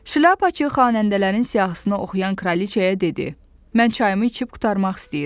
Şlyapaçı xanəndələrin siyahısını oxuyan kraliçəyə dedi: Mən çayımı içib qurtarmaq istəyirəm.